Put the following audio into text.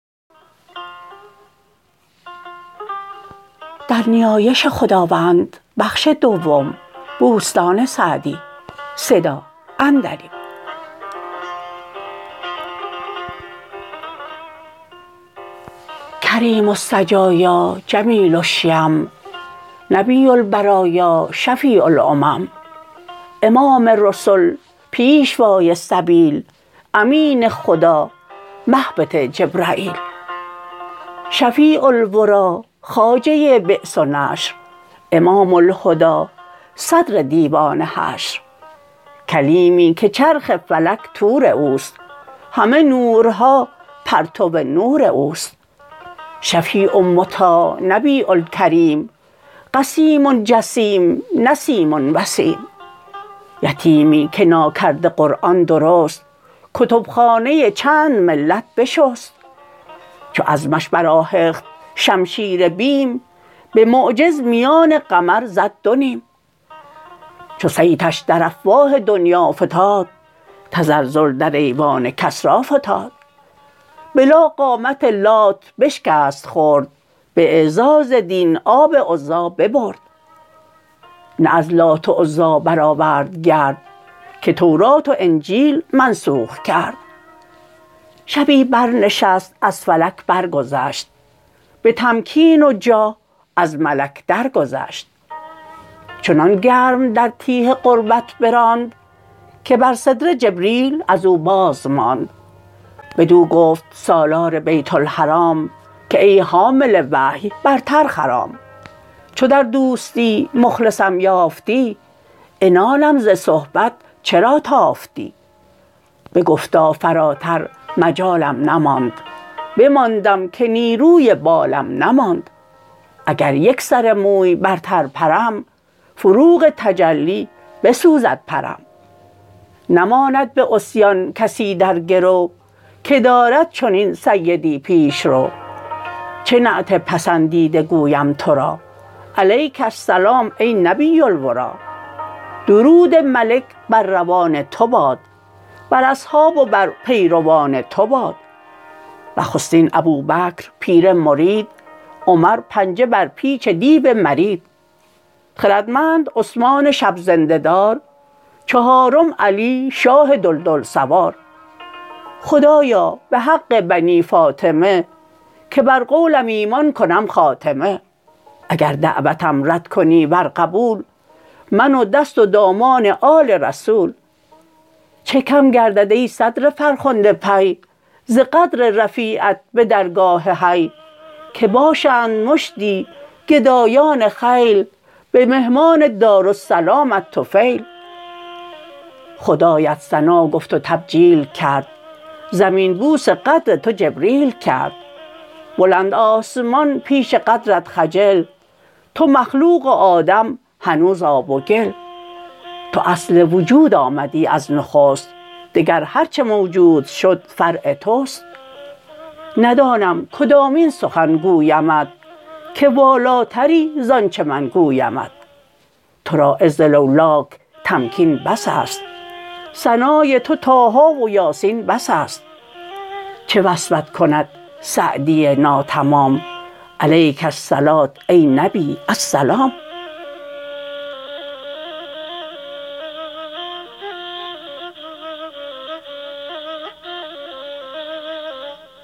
کریم السجایا جمیل الشیم نبی البرایا شفیع الامم امام رسل پیشوای سبیل امین خدا مهبط جبرییل شفیع الوری خواجه بعث و نشر امام الهدی صدر دیوان حشر کلیمی که چرخ فلک طور اوست همه نورها پرتو نور اوست شفیع مطاع نبی کریم قسیم جسیم نسیم وسیم یتیمی که ناکرده قرآن درست کتب خانه چند ملت بشست چو عزمش برآهخت شمشیر بیم به معجز میان قمر زد دو نیم چو صیتش در افواه دنیا فتاد تزلزل در ایوان کسری فتاد به لا قامت لات بشکست خرد به اعزاز دین آب عزی ببرد نه از لات و عزی برآورد گرد که تورات و انجیل منسوخ کرد شبی بر نشست از فلک برگذشت به تمکین و جاه از ملک درگذشت چنان گرم در تیه قربت براند که بر سدره جبریل از او بازماند بدو گفت سالار بیت الحرام که ای حامل وحی برتر خرام چو در دوستی مخلصم یافتی عنانم ز صحبت چرا تافتی بگفتا فراتر مجالم نماند بماندم که نیروی بالم نماند اگر یک سر موی برتر پرم فروغ تجلی بسوزد پرم نماند به عصیان کسی در گرو که دارد چنین سیدی پیشرو چه نعت پسندیده گویم تو را علیک السلام ای نبی الوری درود ملک بر روان تو باد بر اصحاب و بر پیروان تو باد نخستین ابوبکر پیر مرید عمر پنجه بر پیچ دیو مرید خردمند عثمان شب زنده دار چهارم علی شاه دلدل سوار خدایا به حق بنی فاطمه که بر قولم ایمان کنم خاتمه اگر دعوتم رد کنی ور قبول من و دست و دامان آل رسول چه کم گردد ای صدر فرخنده پی ز قدر رفیعت به درگاه حی که باشند مشتی گدایان خیل به مهمان دارالسلامت طفیل خدایت ثنا گفت و تبجیل کرد زمین بوس قدر تو جبریل کرد بلند آسمان پیش قدرت خجل تو مخلوق و آدم هنوز آب و گل تو اصل وجود آمدی از نخست دگر هرچه موجود شد فرع توست ندانم کدامین سخن گویمت که والاتری زانچه من گویمت تو را عز لولاک تمکین بس است ثنای تو طه و یس بس است چه وصفت کند سعدی ناتمام علیک الصلوة ای نبی السلام